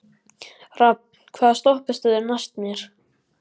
Rafn, hvaða stoppistöð er næst mér?